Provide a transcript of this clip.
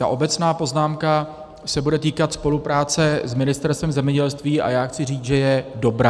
Ta obecná poznámka se bude týkat spolupráce s Ministerstvem zemědělství, a já chci říct, že je dobrá.